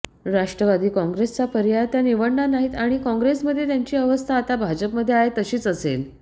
राष्ट्रवादी काँग्रेसचा पर्याय त्या निवडणार नाहीत आणि काँग्रेसमध्ये त्यांची अवस्था आता भाजपमध्ये आहे तशीच असेल